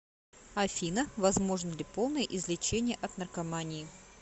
афина возможно ли полное излечение от наркомании